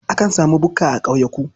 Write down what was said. Akan sami bukka a ƙauyuka.